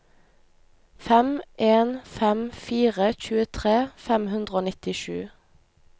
fem en fem fire tjuetre fem hundre og nittisju